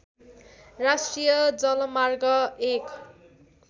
राष्ट्रिय जलमार्ग एक